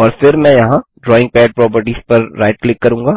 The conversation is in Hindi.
और फिर मैं यहाँ ड्राइंग पद प्रॉपर्टीज पर राइट क्लिक करूँगा